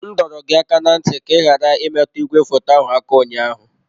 M dọrọ gị aka ná ntị ka ị ghara imetụ igwefoto ahụ aka ụnyaahụ!